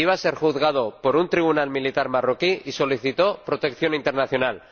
Iba a ser juzgado por un tribunal militar marroquí y solicitó protección internacional.